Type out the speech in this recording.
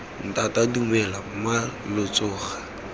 ntata dumela mma lo tsoga